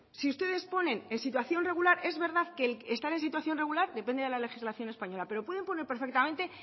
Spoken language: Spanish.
si ustedes ponen en situación regular es verdad que están en situación regular depende de la legislación española pero pueden poner perfectamente